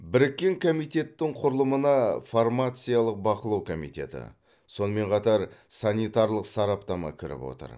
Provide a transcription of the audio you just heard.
біріккен комитеттің құрылымына фармациялық бақылау комитеті сонымен қатар санитарлық сараптама кіріп отыр